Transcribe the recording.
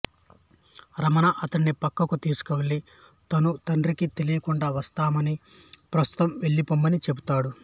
రమణ అతడిని ప్రక్కకు తీసుకెళ్ళి తను తండ్రికి తెలియకుండా వస్తానని ప్రస్తుతం వెళ్ళిపొమ్మనీ చెపుతాడు